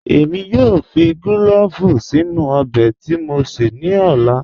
Èmi yóò fì clọ̀ọ̀vù sínu ọbẹ̀ tí mó sé ní ọ̀là.